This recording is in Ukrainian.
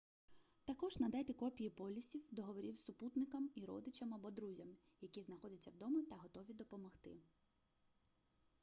також надайте копії полісів/договорів супутникам і родичам або друзям які знаходяться вдома та готові допомогти